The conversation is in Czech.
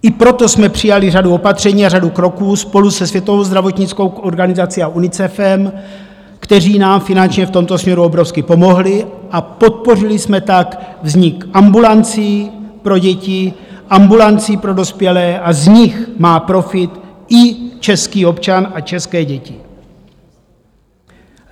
I proto jsme přijali řadu opatření a řadu kroků spolu se Světovou zdravotnickou organizací a UNICEFem, které nám finančně v tomto směru obrovsky pomohly, a podpořili jsme tak vznik ambulancí pro děti, ambulancí pro dospělé a z nich má profit i český občan a české děti.